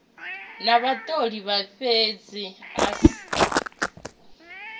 na vhatholi a fhedze o